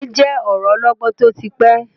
Òwe je ọ̀rọ ọlọgbọ́n tó ti pẹ́.